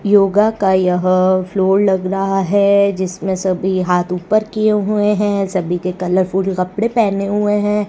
योगा का यह फ्लोर लग रहा है जिसमें सभी हाथ ऊपर किए हुए हैं सभी के कलरफुल कपड़े पहने हुए हैं।